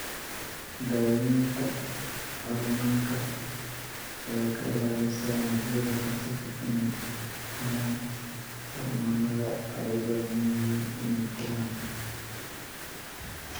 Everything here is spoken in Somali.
Daaweynta hormoonka ayaa ka ilaalisa unugyada kansarka inay helaan hormoonnada ay u baahan yihiin inay koraan.